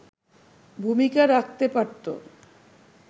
ভূমিকা রাখতে পারতো”